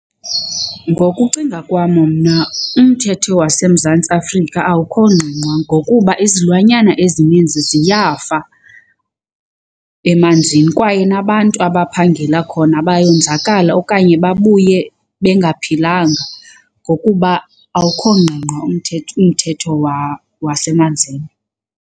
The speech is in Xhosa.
Ngokucinga kwam mna umthetho waseMzantsi Afrika awukho ngqingqwa ngokuba izilwanyana ezininzi ziyafa emanzini kwaye nabantu abaphangela khona bayonzakala okanye babuye bengaphilanga ngokuba awukho ngqingqwa umthetho wasemanzini.